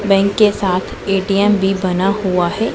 Bank के साथ ATM भी बना हुआ हैं।